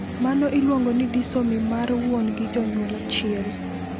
Mano iluongo ni disomy mar wuon gi jonyuol achiel.